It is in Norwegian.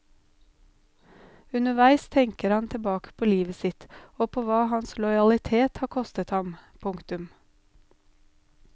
Underveis tenker han tilbake på livet sitt og på hva hans lojalitet har kostet ham. punktum